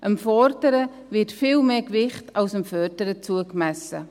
Dem Fordern wird viel mehr Gewicht zugemessen als dem Fördern.